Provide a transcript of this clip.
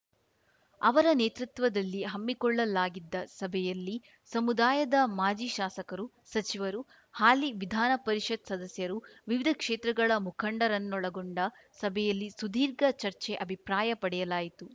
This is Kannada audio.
ಅವರ ನೇತೃತ್ವದಲ್ಲಿ ಹಮ್ಮಿಕೊಳ್ಳಲಾಗಿದ್ದ ಸಭೆಯಲ್ಲಿ ಸಮುದಾಯದ ಮಾಜಿ ಶಾಸಕರು ಸಚಿವರು ಹಾಲಿ ವಿಧಾನಪರಿಷತ್‌ ಸದಸ್ಯರು ವಿವಿಧ ಕ್ಷೇತ್ರಗಳ ಮುಖಂಡರನ್ನೊಳಗೊಂಡ ಸಭೆಯಲ್ಲಿ ಸುದೀರ್ಘ ಚರ್ಚೆ ಅಭಿಪ್ರಾಯ ಪಡೆಯಲಾಯಿತು